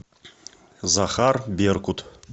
захар беркут